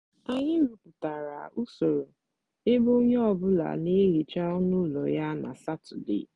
anyị rụpụtara usoro ebe onye ọ bụla na-ehicha ọnụ ụlọ ya na satọde